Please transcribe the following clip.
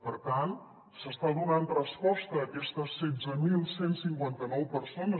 per tant s’està donant resposta a aquestes setze mil cent i cinquanta nou persones